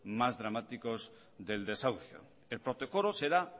más dramáticos del desahucio el protocolo será